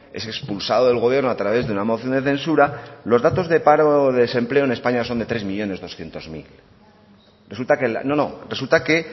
es expulsado del gobierno a través de una moción de censura los datos de paro y desempleo en españa son de tres millónes doscientos mil resulta que